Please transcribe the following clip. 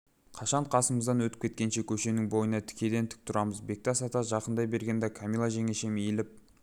қашан қасымыздан өтіп кеткенше көшенің бойында тікеден-тік тұрамыз бектас ата жақындай бергенде камила жеңешем иіліп